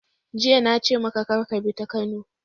Jiya na ce maka kar ka bi ta Kano!